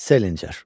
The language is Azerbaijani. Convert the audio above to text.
Salinger.